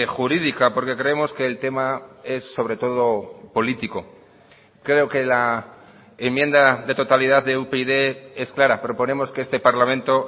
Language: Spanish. jurídica porque creemos que el tema es sobre todo político creo que la enmienda de totalidad de upyd es clara proponemos que este parlamento